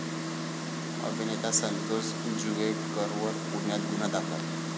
अभिनेता संतोष जुवेकरवर पुण्यात गुन्हा दाखल